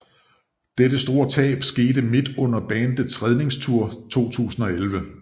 Dette store tab skete midt under bandets Redningstour 2011